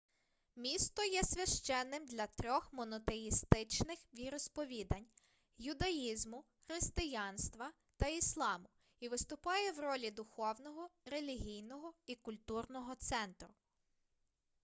місто є священним для трьох монотеїстичних віросповідань юдаїзму християнства та ісламу і виступає в ролі духовного релігійного і культурного центру